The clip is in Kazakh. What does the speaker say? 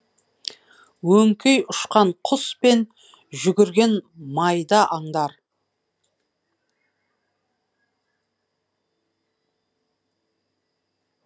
өңкей ұшқан құс пен жүгірген майда аңдар